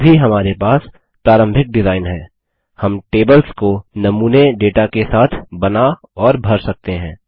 अभी हमारे पास प्रारंभिक डिजाइन है हम टेबल्स को नमूने डेटा के साथ बना और भर सकते हैं